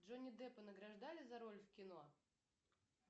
джонни деппа награждали за роль в кино